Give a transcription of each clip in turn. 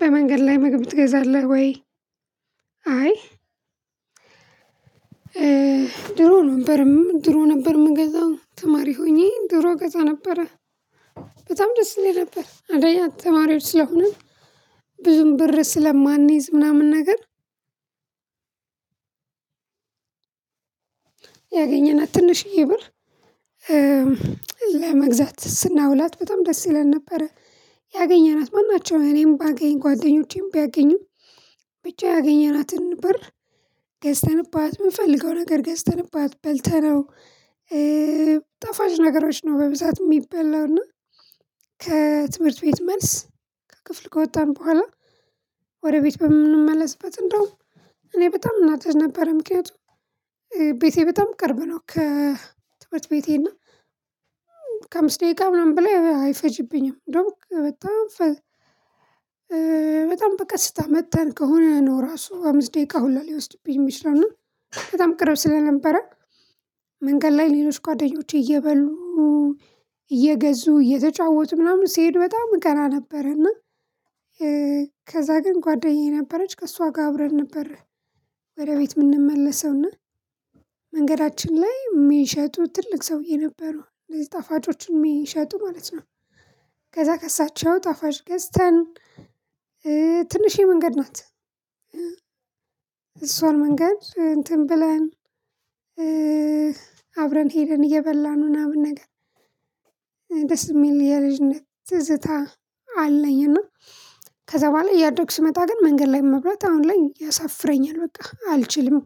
በመንገድ ላይ ምግብ ትገዛለህ ወይ? አይ ድሮ ነበርም ድሮ ነበር የምገዛው ተማሪ ሆኜ ድሮ እገዛ ነበረ። በጣም ደስ ይለኝ እንዴት ነበር አዳያ ተማሪዎች ስለሆነ ብዙም ብር ስለማንይዝ ምናምን ነገር። ያገኘናት ትንሽዬ ብር ለመግዛት ስናውላት በጣም ደስ ይለን ነበረ። ያገኘናት ማን ናቸው እኔም ባገኝ ጓደኞቼም ቢያገኙ ብቻ ያገኘናትን በር ገዝተንባት የምፈልገው ነገር ገዝተንባት በልተነው። ጣፋጭ ነገሮች ነው በብዛት የሚበላው እና ከትምህርት ቤት መልስ። ከክፍል ከወጣን በኋላ። ወደ ቤት በምንመለስበት እንደውም እኔ በጣም እናደድ ነበር ምክንያቱም። ቤቴ በጣም ቅርብ ነው ከትምህርት ቤቴ እና ቤቴና። ከአምስት ደቂቃ ምናምን በላይ አይፈጅብኝም እንደውም በጣም በጣም በቃ ስታመጥተን ከሆነ ነው ራሱ አምስት ደቂቃ ሁላ ሊወስድብኝ የሚችለው ነው። በጣም ቅርብ ስለነበረ መንገድ ላይ ሌሎች ጓደኞቼ እየበሉ። እየገዙ እየተጫወቱ ምናምን ሲሄድ በጣም እቀና ነበረ እና። ከዛ ግን ጓደኛዬ ነበረች ከእሷ ጋር አብረን ነበር። ወደ ቤት የምንመለሰውና መንገዳችን ላይ የሚሸጡ ትልቅ ሰውዬ ነበሩ እነዚህ ጣፋጮች የሚሸጡ ማለት ነው። ከዛ ከእሳቸው ጣፋጭ ገዝተን። ትንሽዬ መንገድ ናት እሷን መንገድ እንትን ብለን አብረን ሄደን እየበላን ምናምን ነገር። ደስ የሚል የልጅነት ትዝታ አለኝ እና። ከዛ በኋላ እያደግሁ ስመጣ ግን መንገድ ላይ መብራት አሁን ላይ ያሳፍረኛል በቃ አልችልም።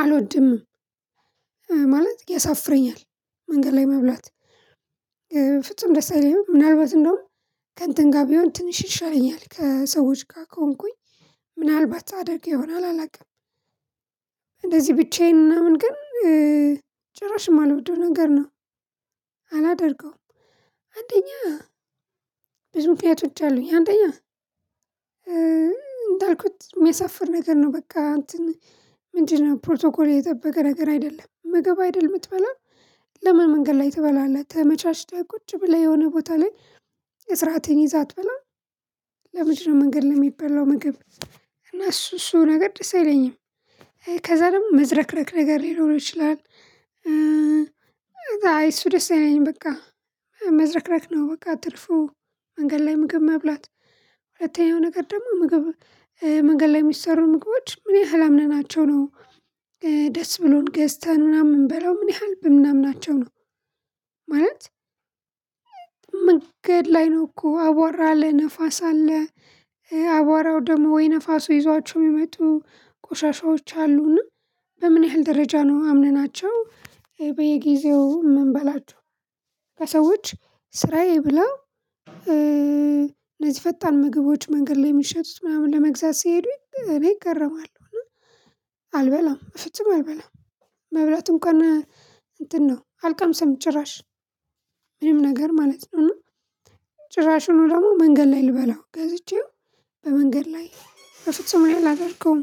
አልወድምም ማለት ያሳፍረኛል። መንገድ ላይ መብላት ፍጹም ደስ አይለኝም። ምናልባት እንደውም ከእንትን ጋር ቢሆን ትንሽ ይሻለኛል ከሰዎች ጋር ከሆንኩኝ ምናልባት አደርግ ይሆናል አላውቅም። እንደዚህ ብቻዬን ምናምን ግን ጭራሽ የማልወደው ነገር ነው። አላደርገውም። አንደኛ ብዙ ምክንያቶች አሉኝ አንደኛ። እንዳልኩት የሚያሳፍር ነገር ነው በቃ እንትን ምንድነው ፕሮቶኮል የጠበቀ ነገር አይደለም ምግብ አይደለም የምትበላው። ለምን መንገድ ላይ ትበላለህ? ተመቻችተህ ቁጭ ብለህ የሆነ ቦታ ላይ ስርአትክን ይዘህ አትበላም? ለምንድነው መንገድ ሚበላው ምግብ? እና እሱ እሱ ነገር ደስ አይለኝም። ከዛ ደግሞ መዝረክረክ ነገር ሊኖር ይችላል። እሱ ደስ አይለኝም በቃ። መዝረክረክ ነው በቃ ትርፉ። መንገድ ላይ ምግብ መብላት። ሁለተኛው ነገር ደግሞ ምግብ መንገድ ላይ የሚሰሩ ምግቦች ምን ያህል አምነናቸው ነው። ደስ ብሎን ገዝተን ምናምን ምንበላው ምን ያህል በምናምን ናቸው ነው። ማለት ምግድ ላይ ነው እኮ አቧራ አለ ንፋስ አለ። አቧራው ደግሞ ወይ ነፋሱ ይዟቸው የሚመጡ ቆሻሻዎች አሉና። በምን ያህል ደረጃ ነው አምነናቸው በየጊዜው የምንበላችሁ። ከሰዎች ስራዬ ብላ እነዚህ ፈጣን ምግቦች መንገድ ላይ የሚሸጡት ምናምን ለመግዛት ሲሄዱኝ እኔ እገረማለሁ። አልበላም በፍጹም አልበላም። መብላትም ከነ እንትን ነው አልቃም ሰምች ጭራሽ ምንም ነገር ማለት ነው። ጭራሹን ደግሞ መንገድ ላይ ልበላው ገዝቼው። በመንገድ ላይ በፍጹም ላይ አላደርገው።